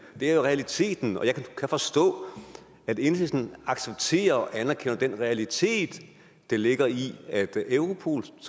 er jo realiteten og jeg kan forstå at enhedslisten accepterer og anerkender den realitet der ligger i at europol